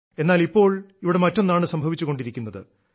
എന്നാൽ ഇപ്പോൾ ഇവിടെ മറ്റൊന്നാണ് സംഭവിച്ചുകൊണ്ടിരിക്കുന്നത്